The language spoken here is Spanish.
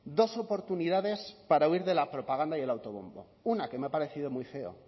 dos oportunidades para huir de la propaganda y el autobombo una que me ha parecido muy feo